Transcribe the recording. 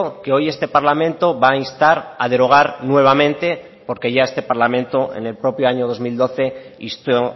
que hoy este parlamento va a instar a derogar nuevamente porque ya este parlamento en el propio año dos mil doce insto